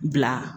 Bila